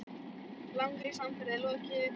Langri samferð er lokið.